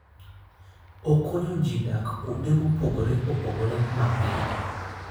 Okonyo ji dak kuonde mopogore opogore mapiyo.